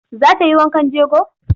Za ta yi wankan jego?